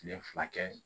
Kile fila kɛ